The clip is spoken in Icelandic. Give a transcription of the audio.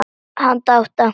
Handa átta